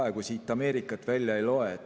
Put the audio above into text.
Praegu siit Ameerikat välja ei loe.